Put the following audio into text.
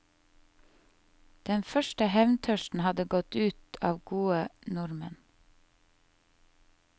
Den første hevntørsten hadde gått ut av gode nordmenn.